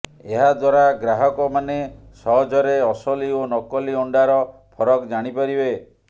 ଏହାଦ୍ୱାରା ଗ୍ରାହକ ମାନେ ସହଜରେ ଅସଲି ଓ ନକଲି ଅଣ୍ଡାର ଫରକ ଜାଣି ପାରିବେ